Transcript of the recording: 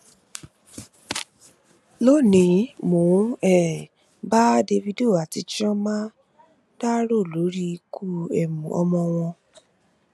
lónìí mò ń um bá davido àti chioma dárò lórí ikú um ọmọ wọn